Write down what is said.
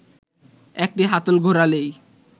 একটি হাতল ঘোরালেই